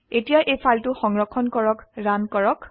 এতিয়া এই ফাইলটি সংৰক্ষণ কৰক ৰান কৰক